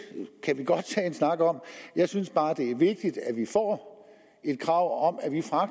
kan vi godt tage en snak om jeg synes bare det er vigtigt at vi får et krav om